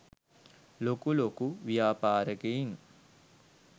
ලොකු ලොකු ව්‍යාපාරිකයින්.